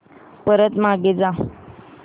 परत मागे जा